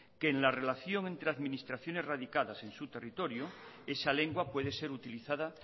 que la relación entre administraciones radicadas en su territorio esa lengua puede ser utilizada